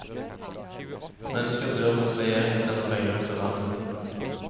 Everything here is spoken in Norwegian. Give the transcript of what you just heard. Mennesker dør mens regjeringen sender penger ut av landet.